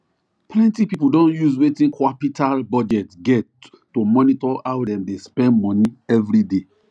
plenty people don use wetin qapital budget get to monitor how dem dey spend money everyday